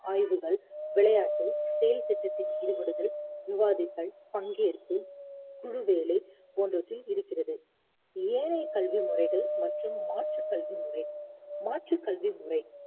ஆய்வுகள், விளையாட்டு செயல் திட்டத்தில் ஈடுபடுதல், விவாதத்தல், பங்கேற்பு, குழுவேலை போன்றவற்றில் இருக்கிறது ஏனைய கல்வி முறைகள் மற்றும் மாற்றுக் கல்வி முறை மாற்றுக் கல்வி முறை